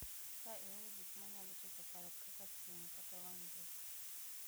Ka iweyo gik ma nyalo chocho paro kaka simu kata wang' jowi,